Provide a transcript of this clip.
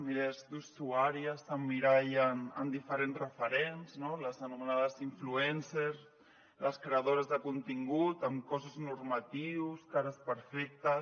milers d’usuàries s’emmirallen en diferents referents no les anomenades influencersles creadores de contingut amb cossos normatius cares perfectes